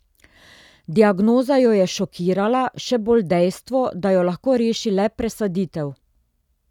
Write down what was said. Diagnoza jo je šokirala, še bolj dejstvo, da jo lahko reši le presaditev.